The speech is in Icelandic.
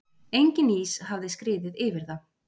Enginn ís hafði skriðið yfir það.